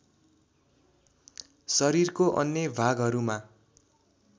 शरीरको अन्य भागहरूमा